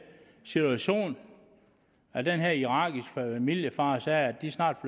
situation at den her irakiske familiefar sagde at de snart